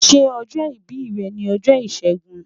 Ṣe ojo ibi rẹ ni ọjọ Ishegun?